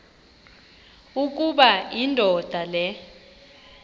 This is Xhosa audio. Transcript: ukuba indoda le